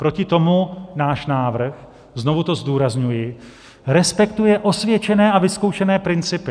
Proti tomu náš návrh - znovu to zdůrazňuji - respektuje osvědčené a vyzkoušené principy.